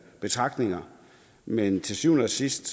betragtninger men til syvende og sidst